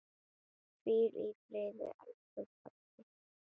Hvíl í friði, elsku pabbi.